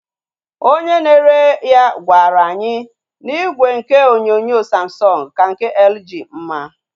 Onye na-ere ya gwaru anyị na igwe ihe onyonyo Samsung ka nke LG mma